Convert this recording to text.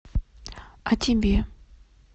о тебе